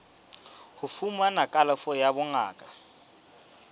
ho fumana kalafo ya bongaka